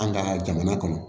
An ka jamana kɔnɔ